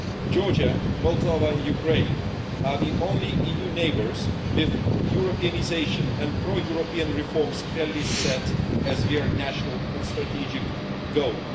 Georgia, Moldova and Ukraine are the only EU neighbours with Europeanisation and pro European reforms clearly set as their national and strategic goals.